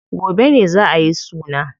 Gobe ne za ayi suna.